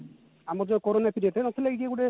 ଆମର ଯୋଉ corona period ତା ନଥିଲା କି କିଏ ଗୋଟେ